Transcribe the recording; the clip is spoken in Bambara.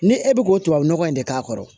Ni e bɛ k'o tubabu nɔgɔ in de k'a kɔrɔ